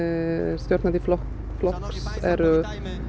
stjórnandi flokks flokks eru